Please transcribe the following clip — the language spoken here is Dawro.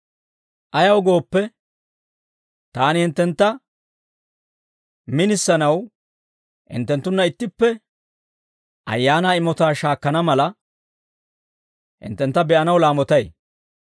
Ayaw gooppe, taani hinttentta minisanaw, hinttenttunna ittippe Ayaanaa imotaa shaakkana mala, hinttentta be'anaw laamotay.